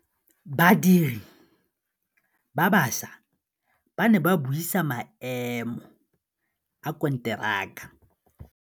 Badiri ba baša ba ne ba buisa maêmô a konteraka.